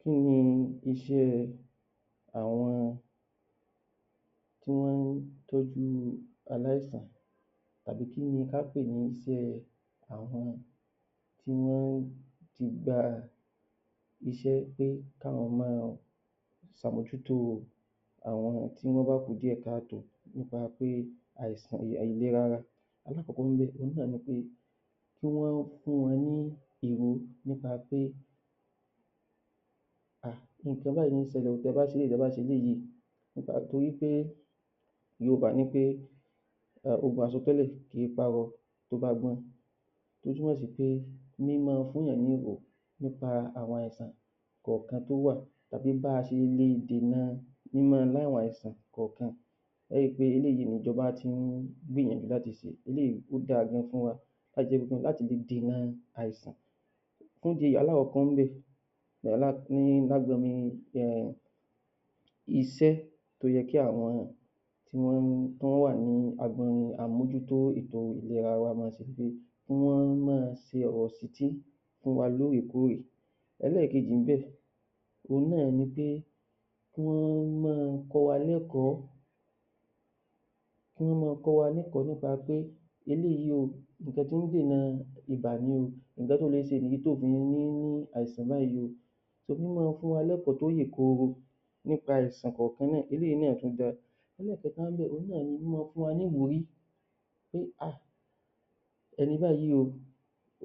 Kí ni iṣẹ́ àwọn tí wọ́n ń tọ́jú aláìsá̀n àbí kí ni ká pè ní iṣẹ́ kí wọ́n ó ti gba iṣẹ́ pé kí àwọn máa ṣe àmójútó àwọn tí ó bá kù díẹ̀ ká tòó nípa pé àìsàn ìlera wọn lákọ̀ọ́kọ́ òun náà ni pé kí wọ́n fún wọn ní èró nípa pé ah...nǹkan báyìí ló ń ṣẹlẹ̀ o,tí ẹ bá ṣe báyìí, tí ẹ bá ṣe báyìí nípa torí pé yorùbá ní pé ogun àsọtẹ́lẹ̀ kì í pa arọ tó bá gbọ́n tó túnmò sí pé mí máa fún èèyàn ní nípa àwọn àìsàn kọ̀ọ̀kan tó wà àti bí a ṣe lè dènà mí máa ní àwọn àìsàn kọ̀ọ̀kan ẹ ó ri pé eléyìíh ni ìjọba ti ń gbìyànjú láti ṣe, eléyìí ó dáa gan fún wa láti lè dènà àìsàn fún ìdí èyí alákọ̀kọ́ níbẹ̀ iṣẹ́ tó yẹ kí àwọn tí wọ́n wà ní àmójútó àọn ètò ìlera wa máa ṣe ni pé kí wọ́n máa ṣe ọ̀rọ̀ ìṣítí fún wa lóòrèkóòrè. ẹlẹ́ẹ̀kejì níbẹ̀ òun náà ni pé kí wọ́n máa kọ́ wa lẹ́kọ̀ọ́ nípa pé eléyìí o nǹkan tí ń dènà ibà ni o, nǹkan tó lè ṣe ìdí tí oò fi ní ní àìsàn báyìí o Mí máa fún wa lẹ́kọ̀ọ́ tó yè koro nípa àìsàn kọ̀ọ̀kan náà eléyìí náà tún da ẹlẹ́ẹ̀kẹta níbẹ̀ òun náà ní mí máa fún wa ní ìwúrí pé ah ẹni báyìí o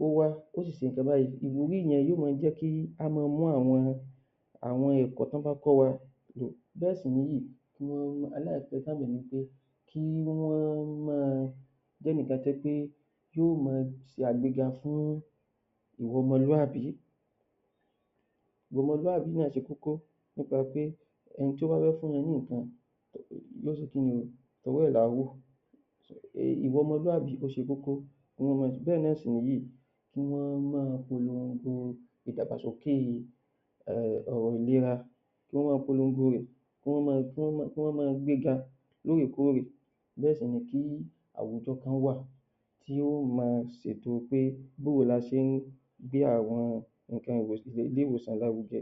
ó wá ó sì ṣe nǹkan báyìí, ìwúrí yẹn yóò máa jẹ́ kí á máa mú àwọn àwọn ẹ̀kọ́ tí wọ́n bá kọ́ wa lò. bẹ́ẹ̀ sì nìyìí kí wọ́n máa jé ẹnìkan tó jẹ́ pé tí yó máa ṣe àgbéga fún ìwà ọmọlúàbí ìwà ọmọlúàbí náà ṣe kókó nípa pé ẹni tó bá fẹ́ fún wa ní nǹkan yó ṣe kí ni? ọwọ́ ẹ̀ làá wò ìwà ọmọlúàbí ó ṣe kókó bẹ́ẹ̀ náà sì nìyìí kí wọ́n máa polongo ìdàgbàsókè ọ̀rọ̀ ìlera, kí wọ́n máa polongo rẹ̀ bẹ́ẹ̀ sì ni kí àwùjọ kan wà tí yóò máa ṣètò pé báwo ni a ṣe ń gbé àwọn ié-ìwòsàn lárugẹ